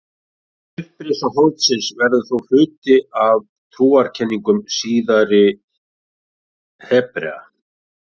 Upprisa holdsins verður þó hluti af trúarkenningum síðari Hebrea.